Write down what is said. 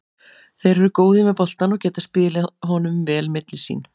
Þeir eru góðir með boltann og geta spilað honum vel sín á milli.